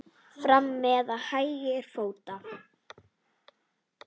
Fram með hægri fót.